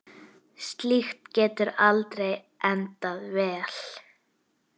Slíkt getur aldrei endað vel.